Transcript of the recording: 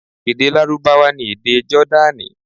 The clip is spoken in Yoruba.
Èdè Lárúbáwá ni èdè Jọ́dánì.